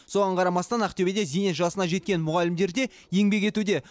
соған қарамастан ақтөбеде зейнет жасына жеткен мұғалімдер де еңбек етуде